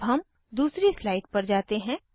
अब हम दूसरी स्लाइड पर जाते हैं